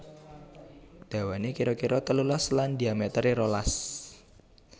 Dawané kira kira telulas lan dhiamétéré rolas